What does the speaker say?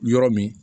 Yɔrɔ min